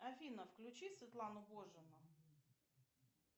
афина включи светлану божину